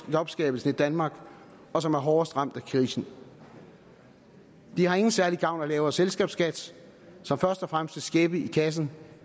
jobskabelsen i danmark og som er hårdest ramt af krisen de har ingen særlig gavn af en lavere selskabsskat som først og fremmest vil skæppe i kassen